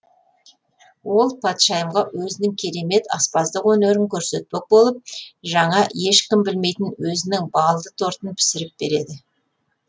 ол патшайымға өзінің керемет аспаздық өнерін көрсетпек болып жаңа ешкім білмейтін өзінің балды тортын пісіріп береді